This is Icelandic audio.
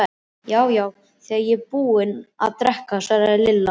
Já, já, þegar ég er búin að drekka svaraði Lilla.